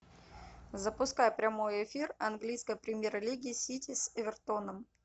запускай прямой эфир английской премьер лиги сити с эвертоном